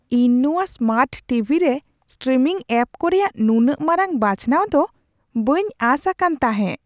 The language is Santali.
ᱤᱧ ᱱᱚᱶᱟ ᱥᱢᱟᱨᱴ ᱴᱤᱵᱷᱤ ᱨᱮ ᱥᱴᱨᱤᱢᱤᱝ ᱮᱹᱯᱠᱚᱨᱮᱭᱟᱜ ᱱᱩᱱᱟᱹᱜ ᱢᱟᱨᱟᱝ ᱵᱟᱪᱷᱱᱟᱣ ᱫᱚ ᱵᱟᱹᱧ ᱟᱸᱥ ᱟᱠᱟᱱ ᱛᱟᱦᱮᱸ !